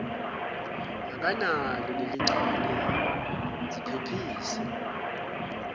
akanalo leligciwane ziphephise